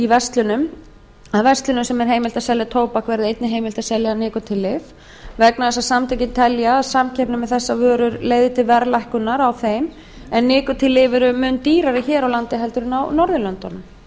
verslunum sem er heimilt að selja tóbak verði einnig heimilt að selja nikótínlyf vegna þess að samtökin telja að samkeppni með þessar vörur leiði til verðlækkunar á þeim en nikótínlyf eru mun dýrari hér á landi en á norðurlöndunum